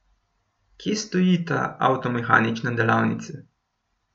Kje stoji ta avtomehanična delavnica?